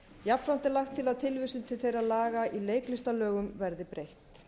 jafnframt er lagt til að tilvísun til þeirra laga í leiklistarlögum verði breytt